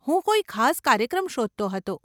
હું કોઈ ખાસ કાર્યક્રમ શોધતો હતો.